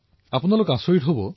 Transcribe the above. আপোনালোকে জানি আচৰিত হব